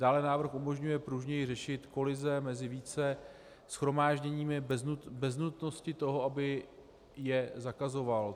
Dále návrh umožňuje pružněji řešit kolize mezi více shromážděními bez nutnosti toho, aby je zakazoval.